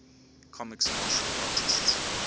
comics martial artists